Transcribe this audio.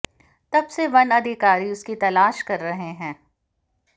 तब से वन अधिकारी उसकी तलाश कर रहे हैं